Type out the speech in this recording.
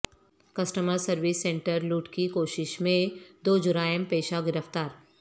customer service centre لوٹ کی کوشش میںدو جرائم پیشہ گرفتار